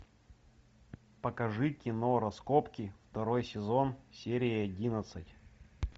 покажи кино раскопки второй сезон серия одиннадцать